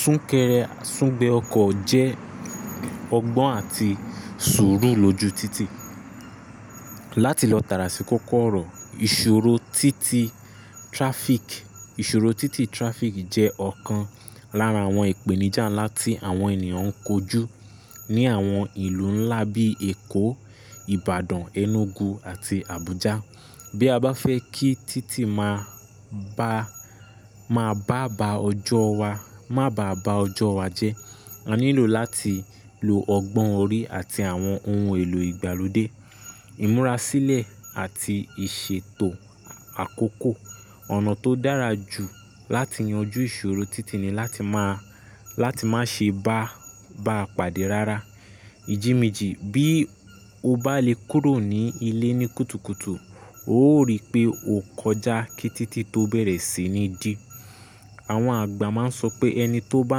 Súnkẹrẹ, sún gbẹ ọkọ̀ jẹ́ ọgbọ́n àti sùúrù lójú títì. Láti lọ tàràsi koko ọ̀rọ̀, ìṣòro títì traffic, ìṣòro títì traffic jẹ́ ọ̀kan lára àwọn ìpèníjà ńlá tí àwọn ènìyàn ń kojú ní àwọn ìlú ńlá bíi Èkó, Ìbàdàn, Enugu àti Abuja. Bí a bá fẹ́ kí títì máa bá, máa bá ba ọjọ́ wa, má bá ba ọjọ́ wa jẹ́, a nílò láti lo ọgbọ́n orí àti àwọn ohun èlò ìgbàlódé. Ìmúrasílẹ̀ àti ìṣètò àkókò, ọ̀nà tó dára jù láti yanjú ìṣòro títì ni láti má, láti má ṣe bá, bá pàdé rárá. Ìjì méjì bí o bá lè kúrò ní ilé ní kùtùkùtù, o ó rí pé o kọjá kí títì tó bẹ̀rẹ̀ sí ní dí. Àwọn àgbà má ń sọ pé ẹni tó bá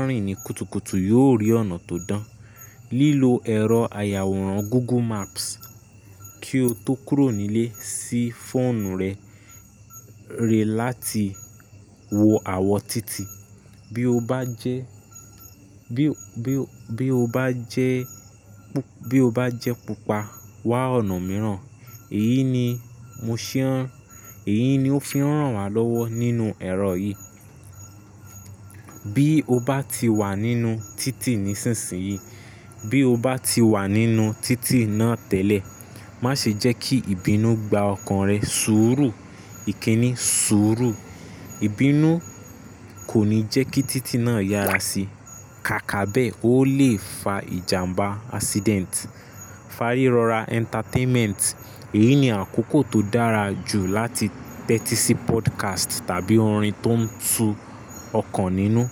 ń rìn ní kùtùkùtù yóò rí ọ̀nà tó dán. Lílo ẹ̀rọ àyàwòrán Google Maps kí o tó kúrò nílé sí fóònù rẹ, rẹ láti wo àwọ̀ títì. Bí o bá jẹ́, bí o, bí o, bí o bá jẹ́ pu, bí o bá jẹ́ pupa, wá ọ̀nà mìíràn. Èyí ni mo ṣẹ́yàn. Èyí ni ó fihàn wá lọ́wọ́ nínú ẹ̀rọ yìí. Bí o bá ti wà nínú títì nísinsìnyí, bí o bá ti wà nínú títì náà tẹ́lẹ̀, má ṣe jẹ́ kí ìbínú gba ọkàn rẹ sùúrù. Kínni sùúrù, ìbínú kò ní jẹ́ kí títì náà yára sí. Kàkà bẹ́ẹ́, ó lè fa ìjàmbá accident. Fárírọra entertainment, èyí ni àkókò tó dára jù láti tẹ́tí sí podcast tàbí orin tó ń tu ọkàn nínú.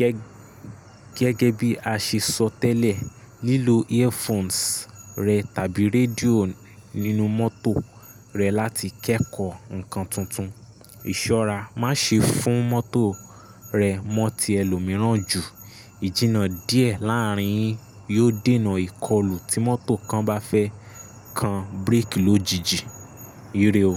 Gẹ́, gẹ́gẹ́ bí a ṣe sọ tẹ́lẹ̀, lílo earphones rẹ tàbí rédíò nínú mọ́tò rẹ láti kẹ́kọ̀ọ́ nǹkan tuntun. Ìṣọ́ra, má ṣe fún mọ́tò rẹ mọ́ ti ẹlòmíràn jù. Jìna díẹ̀ láàrín yín yóò dènà ìkọlù tí mọ́tò kan bá fẹ́ kan bíríkì lójijì. Ire o.